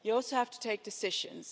You also have to take decisions.